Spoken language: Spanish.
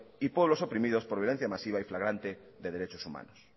y pueblos oprimidos por violencia masiva o flagrante de derechos humanos